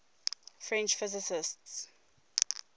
french physicists